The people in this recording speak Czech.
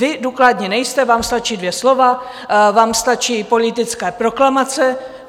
Vy důkladní nejste, vám stačí dvě slova, vám stačí politické proklamace.